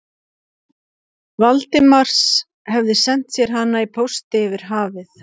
Valdimars, hefði sent sér hana í pósti yfir hafið.